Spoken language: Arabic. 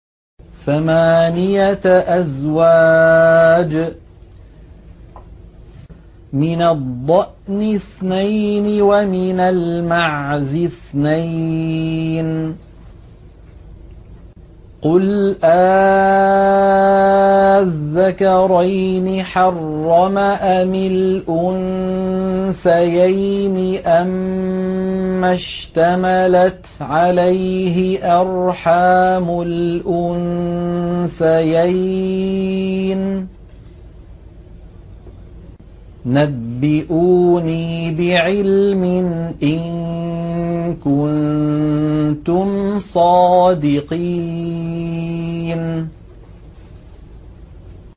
ثَمَانِيَةَ أَزْوَاجٍ ۖ مِّنَ الضَّأْنِ اثْنَيْنِ وَمِنَ الْمَعْزِ اثْنَيْنِ ۗ قُلْ آلذَّكَرَيْنِ حَرَّمَ أَمِ الْأُنثَيَيْنِ أَمَّا اشْتَمَلَتْ عَلَيْهِ أَرْحَامُ الْأُنثَيَيْنِ ۖ نَبِّئُونِي بِعِلْمٍ إِن كُنتُمْ صَادِقِينَ